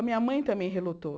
A minha mãe também relutou.